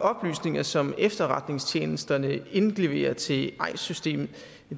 oplysninger som efterretningstjenesterne indleverer til eis systemet